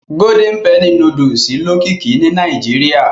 Golden penny núdúsì lókìkí ni Nàìjíríà